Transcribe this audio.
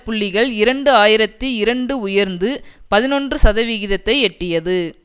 புள்ளிகள் இரண்டு ஆயிரத்தி இரண்டு உயர்ந்து பதினொன்று சதவிகிதத்தை எட்டியது